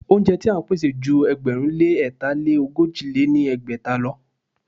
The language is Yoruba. Óúnjẹ ti à ń pèsè ju ẹgbẹ̀rún lé ẹ̀ta lé ogójì lé ní ẹgbẹ́ta lọ.